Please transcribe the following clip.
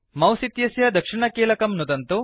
mouse इत्यस्य दक्षिणकीलकं नुदन्तु